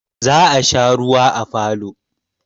Za a sha ruwa a falo.